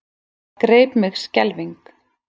Það greip mig skelfing.